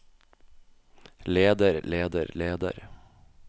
leder leder leder